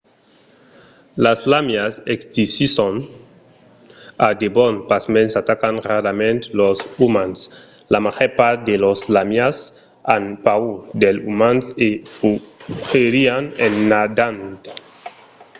las làmias existisson a debon pasmens atacan rarament los umans. la màger part de las làmias an paur dels umans e fugirián en nadant